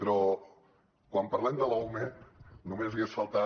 però quan parlem de l’ume només hagués faltat